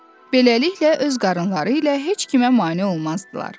Beləliklə öz qarınları ilə heç kimə mane olmazdılar.